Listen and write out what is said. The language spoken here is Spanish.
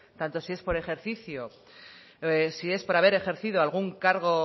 tanto si es haber ejercido algún cargo